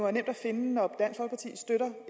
at finde når